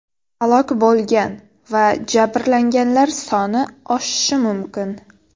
Halok bo‘lgan va jabrlanganlar soni oshishi mumkin.